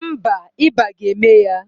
Mba, ịba ga-eme ya.